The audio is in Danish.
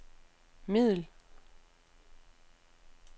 middel